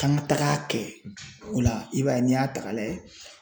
K'an ka tag'a kɛ o la i b'a ye n'i y'a ta k'a lajɛ